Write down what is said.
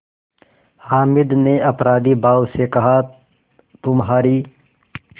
हामिद ने अपराधीभाव से कहातुम्हारी